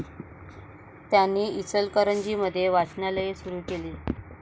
त्यांनी इचलकरंजी मध्ये वाचनालये सुरु केली.